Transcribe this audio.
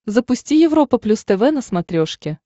запусти европа плюс тв на смотрешке